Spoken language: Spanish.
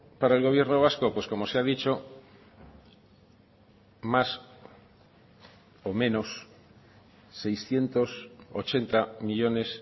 para el gobierno vasco pues como se ha dicho más o menos seiscientos ochenta millónes